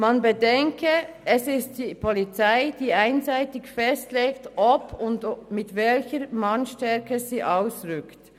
Man bedenke, es ist die Polizei, die einseitig festlegt, ob und mit welcher Mannesstärke sie ausrückt.